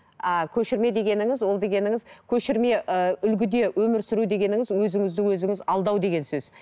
а көшірме дегеніңіз ол дегеніңіз көшірме ыыы үлгіде өмір сүру дегеніңіз өзіңізді өзіңіз алдау деген сөз